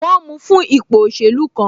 Wọn mu fún ipò òṣèlú kan